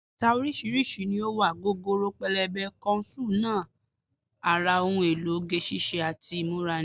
Bàtà oríṣiríṣi ni ó wà, gogoro, pẹlẹbẹ, kọ ṣúù náà ara ohun èlò oge ṣíṣe àti ìmúra ni